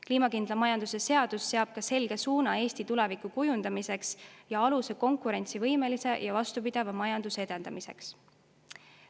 Kliimakindla majanduse seadus seab ka selge suuna Eesti tuleviku kujundamiseks ja aluse konkurentsivõimelise ja vastupidava majanduse edendamiseks.